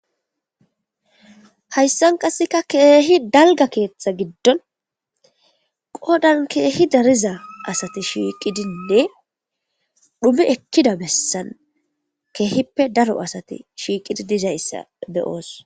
Hayssan qasseka keehi dalga keeththa giddon qodan keehi dariza asati shiiqidinne dhume ekkida bessan keehippe daro asati shiiqidi dizayssa beyoos.